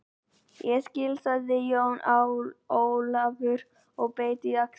Ég skil, sagði Jón Ólafur og beit á jaxlinn.